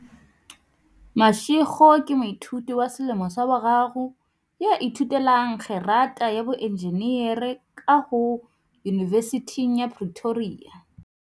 Mashego ke moithuti wa selemo sa boraro ya ithute lang kgerata ya boenjinere ba kaho Yunivesithing ya Pretoria.